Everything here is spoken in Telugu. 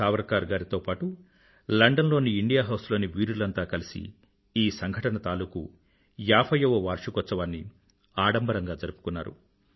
సావర్కర్ గారితో పాటూ లండన్ లోని ఇండియా హౌస్ లోని వీరులంతా కలిసి ఈ సంఘటన తాలూకూ 50 వ వార్షికోత్సవాన్ని ఆడంబరంగా జరుపుకున్నారు